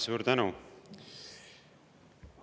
Suur tänu!